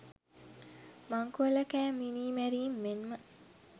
මංකොල්ලකෑම් මිනීමැරීම් මෙන්ම